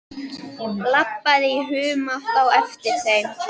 Labbaði í humátt á eftir þeim.